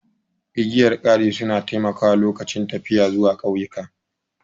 Igiyar kari su na taimakawa lokacin tafiya zuwa ƙauyuka